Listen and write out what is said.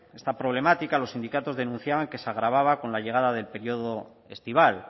esta problemática los sindicatos denunciaban que se agravaba con la llegada del periodo estival